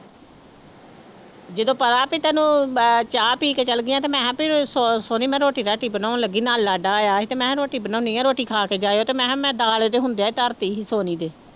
ਜਦੋਂ ਪਤਾ ਵੀ ਤੈਨੂੰ ਅਹ ਚਾਹ ਪੀ ਕੇ ਚੱਲ ਗਈਆਂ ਤੇ ਮੈਂ ਸ ਸੋਨੀ ਮੈਂ ਰੋਟੀ ਰਾਟੀ ਬਣਾਉਣ ਲੱਗੀ ਨਾਲ ਲਾਡਾ ਆਇਆ ਸੀ ਤੇ ਮੈਂ ਰੋਟੀ ਬਣਾਉਂਦੀ ਹਾਂ ਰੋਟੀ ਖਾ ਕੇ ਜਾਇਓ ਤੇ ਮੈਂ ਕਿਹਾ ਮੈਂ ਦਾਲ ਇਹਦੇ ਹੁੰਦਿਆਂ ਹੀ ਧਰ ਦਿੱਤੀ ਸੀ ਸੋਨੀ ਦੇ